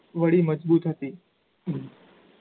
વળી મજબૂત હતી